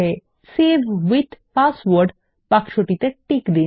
এখানে save with password বাক্সতেটি tick দিন